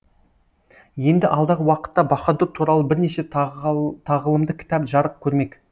енді алдағы уақытта баһадүр туралы бірнеше тағылымды кітап жарық көрмек